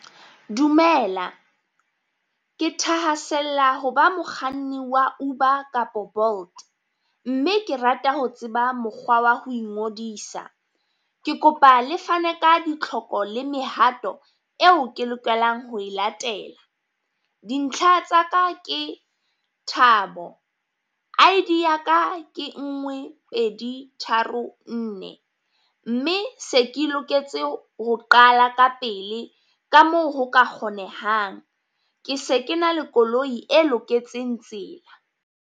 Dumela ke thahasella ho ba mokganni wa Uber kapo Bolt, mme ke rata ho tseba mokgwa wa ho ingodisa. ke kopa le fane ka ditlhoko le mehato eo ke lokelang ho e latela, dintlha tsa ka ke Thabo, I_D ya ka ke ngwe pedi tharo nne. Mme se ke loketse ho qala ka pele ka moo ho ka kgonehang, ke se ke na le koloi e loketseng tsela.